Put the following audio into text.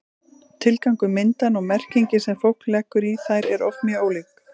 tilgangur myndanna og merkingin sem fólk leggur í þær eru oft mjög ólík